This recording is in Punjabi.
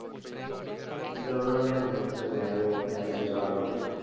ਜਾਣਾ ਲੈਣ ਮੈਂ ਚਲ ਰਹਿ ਰਹਿ ਲੈਣ ਚਾਰ ਦਿਨ।